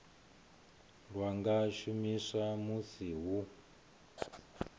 lwa nga shumiswa musi hu